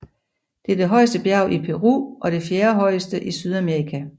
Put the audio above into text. Det er det højeste bjerg i Peru og det fjerdehøjeste i Sydamerika